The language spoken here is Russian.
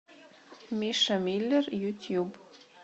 миша миллер ютуб